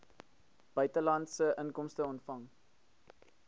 buitelandse inkomste ontvang